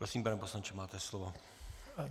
Prosím, pane poslanče, máte slovo.